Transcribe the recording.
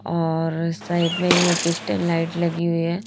और साइड में ये क्रिस्टल लाइट लगी हुई है।